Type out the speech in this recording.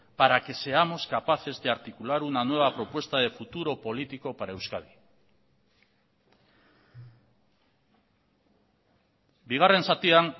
para que seamos capaces de articular una nueva propuesta de futuro político para euskadi bigarren zatian